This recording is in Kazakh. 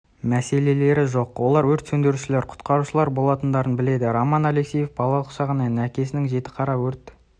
мәселелері жоқ олар өрт сөндірушілер құтқарушылар болатындарын біледі роман алексеев балалық шағынан әкесінің жітіқара өрт